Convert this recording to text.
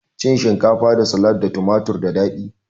Cin shinkafa da salak da tumatur da dadi